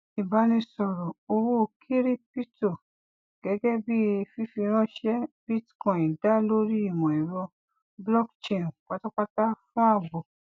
ìbánisọrọ owó kiripítọ gẹgẹ bí fífiranṣẹ bitcoin dá lórí imọ ẹrọ blockchain pátápátá fún ààbò